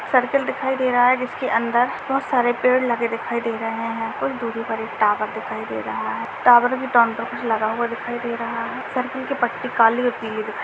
circle दिखाई दे रहा है जिसके अंदर बहुत सारे पेड़ लगे दिखाई दे रहे हैं कुछ दूरी पर एक टावर दिखाई दे रहा है टावर के लगा हुआ दिखाई दे रहा है सर्कल की पट्टी काली और पिली --